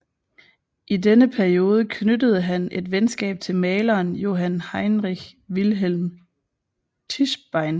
I denne periode knyttede han et venskab til maleren Johann Heinrich Wilhelm Tischbein